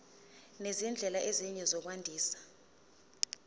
nezindlela ezinye zokwandisa